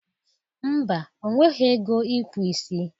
Mba, o wereghi ego ịkpụ isi.